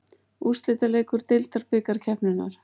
Úrslitaleikur deildabikarkeppninnar.